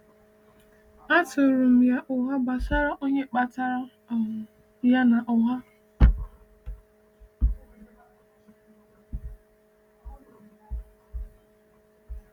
A tụrụ um ya ụgha gbasara onye kpatara um ya n’ụgha.